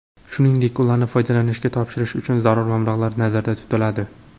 Shuningdek, ularni foydalanishga topshirish uchun zarur mablag‘lar nazarda tutiladi.